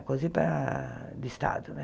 A Cosipa do estado, né?